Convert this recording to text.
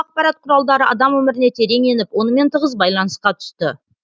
ақпарат құралдары адам өміріне терең еніп онымен тығыз байланысқа түсті